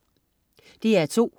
DR2: